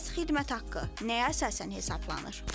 Bəs xidmət haqqı nəyə əsasən hesablanır?